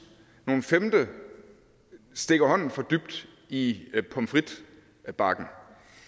nogle stikker stikker hånden for dybt i pommes frites bakken